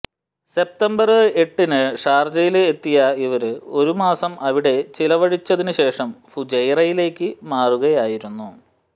September എട്ടിന് ഷാര്ജയില് എത്തിയ ഇവര് ഒരു മാസം അവിടെ ചിലവഴിച്ചതിന് ശേഷം ഫുജൈറയിലേക്ക് മാറുകയായിരുന്നു